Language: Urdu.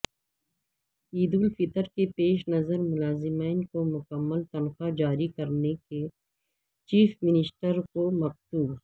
عیدالفطر کے پیش نظر ملازمین کو مکمل تنخواہ جاری کرنے چیف منسٹر کو مکتوب